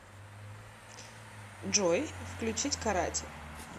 джой включить карати